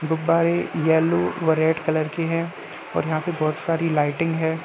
गुब्बारे यलो व red colour के हैं और यहाँ पर बहोत सारी लाइटिंग है ।